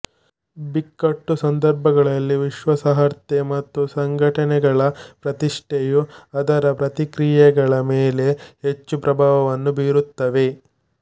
ಬಿಕ್ಕಟ್ಟು ಸಂದರ್ಭಗಳಲ್ಲಿ ವಿಶ್ವಾಸಾರ್ಹತೆ ಮತ್ತು ಸಂಘಟನೆಗಳ ಪ್ರತಿಷ್ಠೆಯು ಅದರ ಪ್ರತಿಕ್ರಿಯೆಗಳ ಮೇಲೆ ಹೆಚ್ಚು ಪ್ರಭಾವವನ್ನು ಬೀರುತ್ತವೆ